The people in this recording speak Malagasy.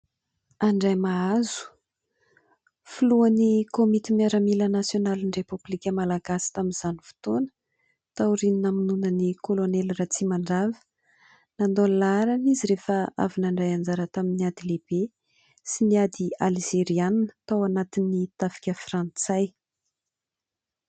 Andriamahazo filohan'ny komity miaramila nasionalin'ny repoblika malagasy tamin'izany fotoana, tao aoriany namonoana ny kolonely Ratsimandrava ; nandao ny laharana izy rehefa avy nandray anjara tamin'ny ady lehibe sy ny ady Alzeriana tao anatin'ny tafika frantsay.